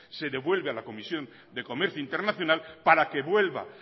se devuelve a la comisión de comercio internacional para que vuelva